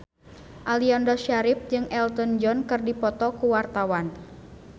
Aliando Syarif jeung Elton John keur dipoto ku wartawan